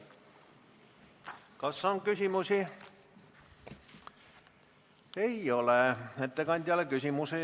Kas on küsimusi ettekandjale?